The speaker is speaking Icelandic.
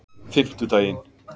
fimmtudaginn